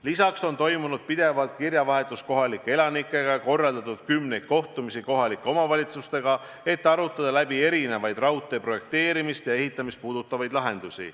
Lisaks on toimunud pidev kirjavahetus kohalike elanikega ning korraldatud kümneid kohtumisi kohalike omavalitsustega, et arutada läbi erinevaid raudtee projekteerimist ja ehitamist puudutavaid lahendusi.